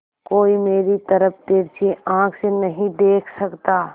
कोई मेरी तरफ तिरछी आँख से नहीं देख सकता